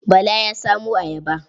Bala ya samo ayaba.